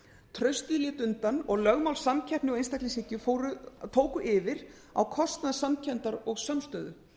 traustið lét undan og lögmál samkeppni og einstaklingshyggju tóku yfir á kostnað samkenndar og samstöðu